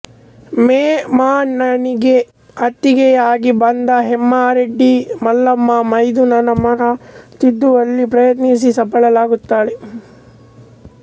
ವೇಮನನಿಗೆ ಅತ್ತಿಗೆಯಾಗಿ ಬಂದ ಹೇಮರೆಡ್ಡಿ ಮಲ್ಲಮ್ಮ ಮೈದುನನ ಮನ ತಿದ್ದುವಲ್ಲಿ ಪ್ರಯತ್ನಿಸಿ ಸಫಲಳಾಗುತ್ತಾಳೆ